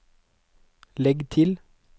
legg til